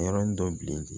A yɔrɔnin dɔ bilen